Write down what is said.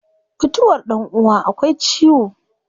Mutuwar dan uwa akwai ciwo